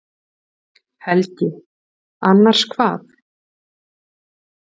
Helgi: Annars hvað?